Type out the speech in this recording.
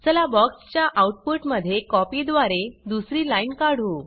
चला बॉक्स च्या आउटपुट मध्ये कॉपी द्वारे दुसरी लाइन काढू